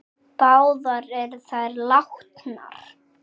Báðar eru þær látnar.